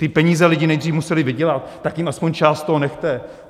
Ty peníze lidi nejdřív museli vydělat, tak jim aspoň část z toho nechte!